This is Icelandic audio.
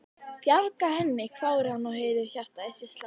Bjarga henni? hváir hann og heyrir hjartað í sér slá.